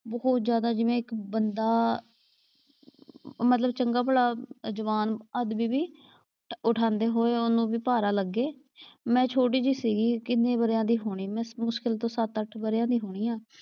ਬਹੁਤ ਜਿਆਦਾ ਜਿਵੇਂ ਇੱਕ ਬੰਦਾ ਮਤਲਬ ਚੰਗਾ ਭਲਾ ਜਵਾਨ ਆਦਮੀ ਵੀ, ਉਠਾਂਦੇ ਹੋਏ ਉਹਨੂੰ ਵੀ ਭਾਰਾ ਲੱਗੇ। ਮੈਂ ਛੋਟੀ ਜਿਹੀ ਸੀਗੀ ਕਿੰਨੇ ਵਰ੍ਹਿਆਂ ਦੀ ਹੋਣੀ ਮੈਂ ਮੁਸ਼ਕਿਲ ਤੋਂ ਸੱਤ ਅੱਠ ਵਰ੍ਹਿਆਂ ਦੀ ਹੋਣੀ ਆਂ।